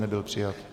Nebyl přijat.